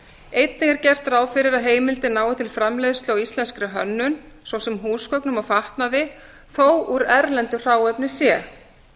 einnig er gert ráð fyrir að heimildin nái til framleiðslu á íslenskri hönnun svo sem húsgögnum og fatnaði þó úr erlendu hráefni sé